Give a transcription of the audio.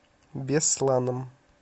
бесланом